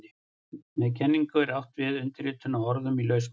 Með kenningu er átt við umritun á orðum í lausamáli.